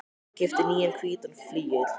Ég keypti nýjan hvítan flygil.